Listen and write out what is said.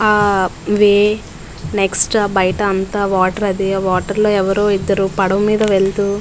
ఆ way next బయట అంత వాటర్ అది ఆ వాటర్ లో ఎవరో ఇద్దరు పడవ మీద వెళ్తూ --